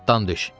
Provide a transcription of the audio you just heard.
Atdan düş!